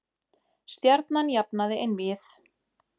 Stjarnan jafnaði einvígið